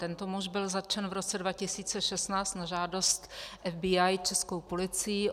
Tento muž byl zatčen v roce 2016 na žádost FBI českou policií.